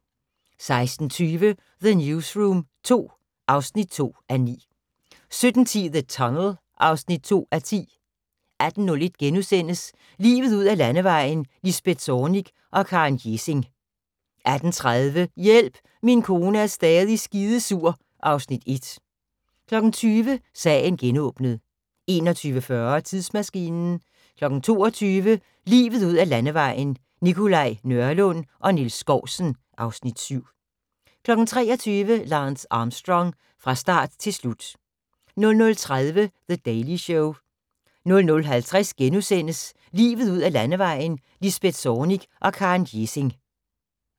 16:20: The Newsroom II (2:9) 17:10: The Tunnel (2:10) 18:01: Livet ud ad Landevejen: Lisbeth Zornig og Karen Gjesing * 18:30: Hjælp, min kone er stadig skidesur (Afs. 1) 20:00: Sagen genåbnet 21:40: Tidsmaskinen 22:00: Livet ud ad Landevejen: Nikolaj Nørlund og Niels Skousen (Afs. 7) 23:00: Lance Armstrong – fra start til slut 00:30: The Daily Show 00:50: Livet ud ad Landevejen: Lisbeth Zornig og Karen Gjesing *